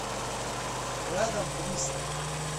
рядом бристоль